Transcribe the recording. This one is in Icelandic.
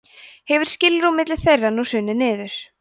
hefur skilrúm milli þeirra nú hrunið niður